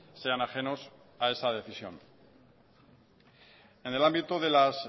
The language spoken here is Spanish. sean ajenos a esa decisión en el ámbito de las